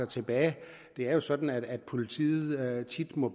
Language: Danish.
tilbage det er jo sådan at politiet tit må